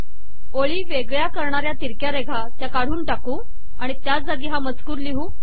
ओळी वेगळ्या करणाऱ्या तिरक्या रेघा त्या काढून टाकू आणि त्या जागी हा मजकूर लिहू